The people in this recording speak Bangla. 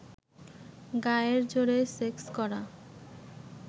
গায়ের জোরে সেক্স করা